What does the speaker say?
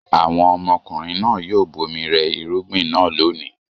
Àwọn ọmọkùnrin náà yóò bomi rẹ irúgbìn náà lónìí.